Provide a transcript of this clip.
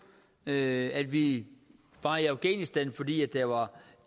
at vi var i afghanistan fordi der var